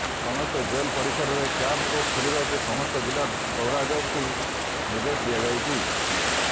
ସମସ୍ତ ଜେଲ ପରିସରରେ camp court ଖୋଲିବାକୁ ସମସ୍ତ ଜିଲ୍ଲା ଓ ଦୌରାଜଜଙ୍କୁ ନିର୍ଦ୍ଦେଶ ଦିଆଯାଇଛି